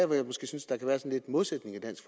jeg måske synes der kan være lidt modsætninger i dansk